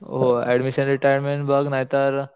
admission retirement बघ नाहीतर